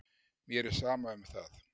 Mér er sama um það.